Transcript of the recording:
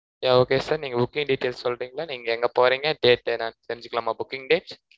yeah okay sir நீங்க booking details சொல்றிங்களா நீங்க எங்க போறீங்க date என்னனு தெரிஞ்சிக்கலாமா booking date